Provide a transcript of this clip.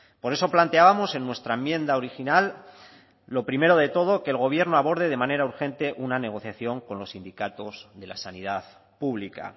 por eso planteábamos en nuestra enmienda original lo primero de todo que el gobierno aborde de manera urgente una negociación con los sindicatos de la sanidad pública